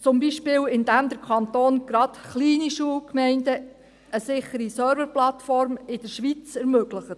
Dies zum Beispiel, indem der Kanton gerade kleinen Schulgemeinden eine sichere Serverplattform in der Schweiz ermöglicht.